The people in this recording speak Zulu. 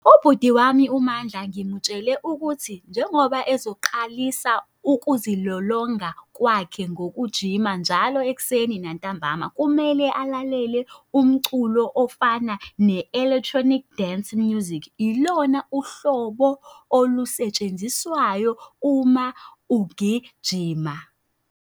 Ubhuti wami uMandla ngimutshele ukuthi njengoba ezoqalisa ukuzilolonga kwakhe ngokujima njalo ekuseni nantambama, kumele alalele umculo ofana ne-Electronic Dance Music, ilona uhlobo olusetshenziswayo uma ugijima.